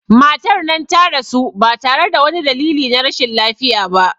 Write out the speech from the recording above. Matar nan ta rasu ba tare da wani dalili na rashin lafiya ba